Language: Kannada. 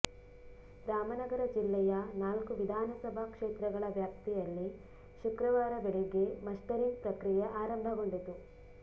ರಾಮನಗರ ಜಿಲ್ಲೆಯ ನಾಲ್ಕು ವಿಧಾನಸಭಾ ಕ್ಷೇತ್ರಗಳ ವ್ಯಾಪ್ತಿಯಲ್ಲಿ ಶುಕ್ರವಾರ ಬೆಳಿಗ್ಗೆ ಮಸ್ಟರಿಂಗ್ ಪ್ರಕ್ರಿಯೆ ಆರಂಭಗೊಂಡಿತು